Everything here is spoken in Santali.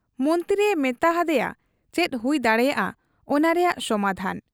ᱢᱚᱱᱛᱨᱤᱭᱮ ᱢᱮᱛᱟ ᱦᱟᱫᱮᱭᱟ ᱪᱮᱫ ᱦᱩᱭ ᱫᱟᱲᱮᱭᱟᱜ ᱟ ᱚᱱᱟ ᱨᱮᱭᱟᱜ ᱥᱚᱢᱟᱫᱷᱟᱱ ?